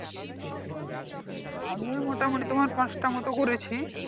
আমিও মোটামোটি তোমার পাঁচটা মতন করেছি